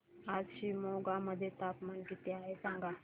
आज शिमोगा मध्ये तापमान किती आहे सांगा